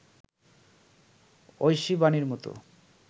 ঐশী বাণীর মতো